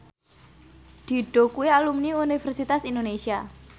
Dido kuwi alumni Universitas Indonesia